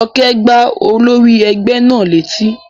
Jọkẹ́ gbá olórí ẹgbẹ́ náà ní etí